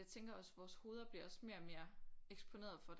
Jeg tænker også vores hoveder bliver også mere og mere eksponeret for